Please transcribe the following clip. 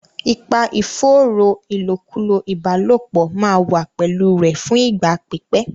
Ipa ìfòòró ìlòkulò ìbálòpọ̀ máa wà pẹ̀lú rẹ̀ fún ìgbà pípẹ́.